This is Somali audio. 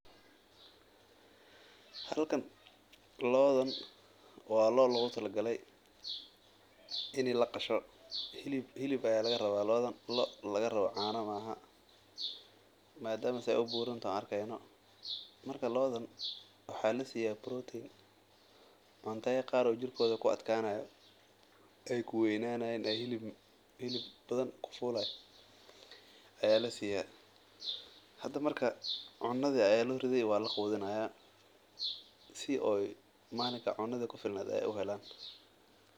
Halkan loodan waa loo logu tala galay in laqasho hilib ayaa laga rabaa madama aay buuran yihiin, waxaa lasiiya cuna hilib badan aay kahelayaan.